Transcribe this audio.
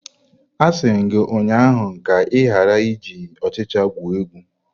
Asi m gi ụnyahụ ka ị ghara iji ọchịcha egwu egwu!